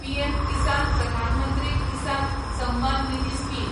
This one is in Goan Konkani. PM Kisan Pradhan Mantri Kisan Samman Nidhi scheme